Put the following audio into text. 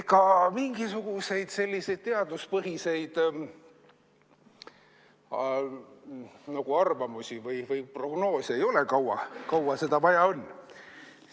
Ega mingisuguseid selliseid teaduspõhiseid arvamusi või prognoose ei ole, kui kaua seda vaja on.